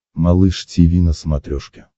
малыш тиви на смотрешке